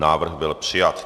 Návrh byl přijat.